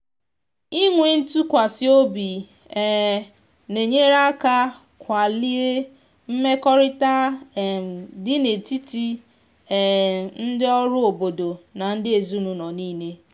inwe ntụkwasị obi um na-enyere aka kwalie mmekọrịta um dị n’etiti um ndị ọrụ obodo na ndị ezinụlọ niile.